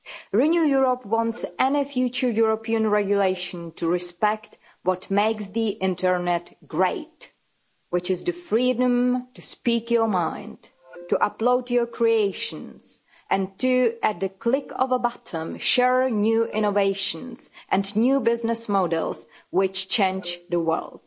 Renew Europe wants any future European regulation to respect what makes the Internet great, which is the freedom to speak your mind, to upload your creations and to, at the click of a button, share new innovations and new business models which change the world.